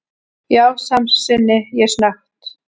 Já, samsinni ég snöggt.